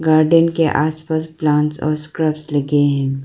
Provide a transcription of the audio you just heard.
Garden के आस पास प्लांट्स और स्क्रब लगे हैं।